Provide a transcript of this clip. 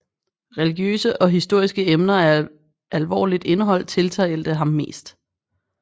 Religiøse og historiske emner af alvorligt indhold tiltalte ham mest